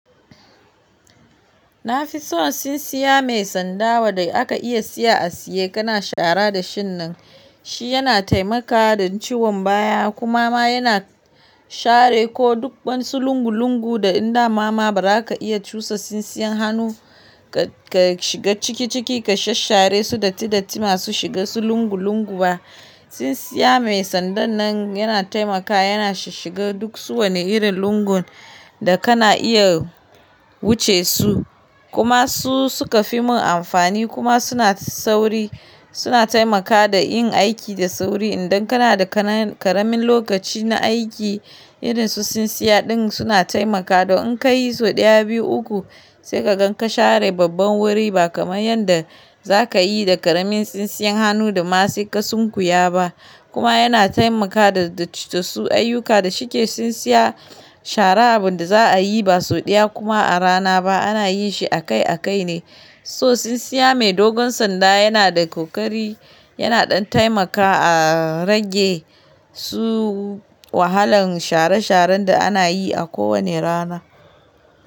Na fi so tsintsiya mai sanda wa da aka iya siya a siye. Kana shara da shin nan. Shi yana taimaka dan ciwon baya kuma ma yana share ko duk wani su lungu-lungu da in da mama ba za ka iya cusa tsintsiyar hannu ka shiga ciki ciki ka shashshare su datti datti ma su shiga su lungu-lungu ba. Tsintsiya mai sandan nan yana taimakawa, yana shiga duk su wani irin lungun da kana iya wuce su. Kuma su suka fi mun amfani kuma suna sauri, suna taimakawa da yin aiki da sauri. Idan kana da ƙaramin lokaci na aiki, irin su sinsiya din suna taimakawa. Don in ka yi sau ɗaya, biyu, uku sai ka gan ka share babban wuri ba kamar yanda za ka yi da ƙaramin tsintsiyan hannu da ma sai ka sunkuya ba. Kuma yana taimakawa da su ayyuka da shike tsintsiya shara abun da za a yi ba sau ɗaya kuma a rana ba, ana yin shi a kai a kai ne. So sinsiya mai dogon sanda yana da ƙoƙari, yana ɗan taimakawa a rage su wahalan share sharen da ana yin shi a kowani rana.